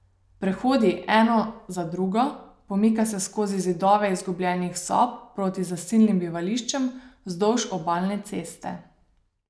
Prehodi eno za drugo, pomika se skozi zidove izgubljenih sob proti zasilnim bivališčem vzdolž obalne ceste.